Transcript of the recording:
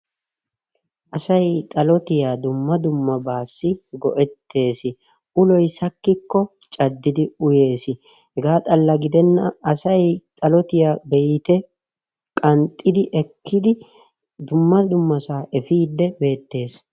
Asay xalottiya dumma dummabaasi go'etees. Uloy sakikko caddidi uyees, hegaa xalla gidenan asay xalottiya beyte qanxxidi ekkidi dumma dummasaa efiidi beettes.